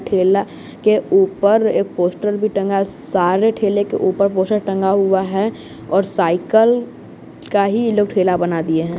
ठेला के ऊपर एक पोस्टर भी टंगा ससारे ठेले के ऊपर पोशर टंगा हुआ है और साइकिल का ही ये लोग ठेला बना दिए हैं।